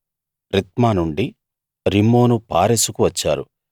Rithmah నుండి Rimmon పారెసుకు వచ్చారు